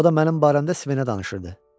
O da mənim barəmdə Svenə danışırdı.